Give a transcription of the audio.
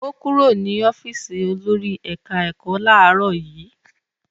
Ó kúrò ní ọ́fíísì olórí ẹ̀ka-ẹ̀kọ́ láàárọ̀ yìí?